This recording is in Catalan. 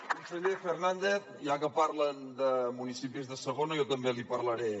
conseller fernàndez ja que parlen de municipis de segona jo també n’hi parlaré